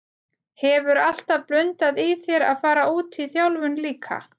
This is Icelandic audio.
Hefur alltaf blundað í þér að fara út í þjálfun líka?